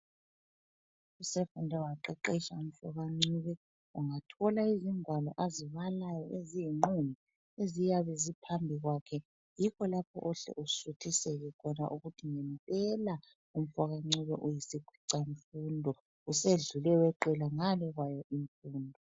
Usefunde waqeqetsha umfoka Ncube ungathola izingwalo azibalayo eziyinqumbi, eziyabe ziphambi kwakhe yikho lapho ohle usuthiseke khona ukuthi ngempela umfoka Ncube uyisi khwicamfundo usedlule weqela ngale kwayo imfundo.